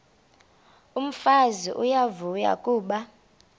umfazi uyavuya kuba